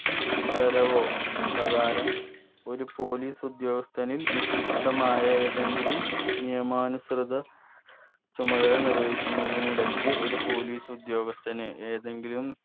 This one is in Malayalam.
ഉത്തരവോ പ്രകാരം ഒരു police ഉദ്യോഗസ്ഥനിൽ നിക്ഷിപ്തമായ ഏതെങ്കിലും നിയമാനുസൃത ചുമതല നിർവഹിക്കുന്നതിനിടക്ക് ഒരു police ഉദ്യോഗസ്ഥനെ ഏതെങ്കിലും